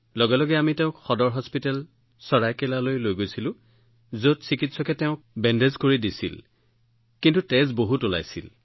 লগে লগে আমি তেওঁক চেৰাইকেলাৰ সদৰ চিকিৎসালয়লৈ লৈ গলো যত চিকিৎসকে তেওঁক বেণ্ডেজ কৰিছিল কিন্তু তেওঁৰ প্ৰচুৰ ৰক্তক্ষৰণ হৈছিল